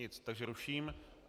Nic, takže ruším.